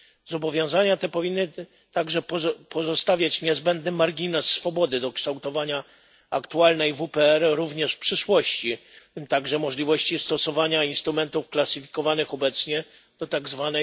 Zobowiązania te powinny także pozostawiać niezbędny margines swobody do kształtowania aktualnej WPR, również w przyszłości, w tym także możliwości stosowania instrumentów klasyfikowanych obecnie do tzw.